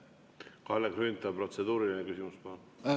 Kalle Grünthal, protseduuriline küsimus, palun!